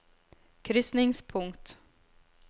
krysningspunkt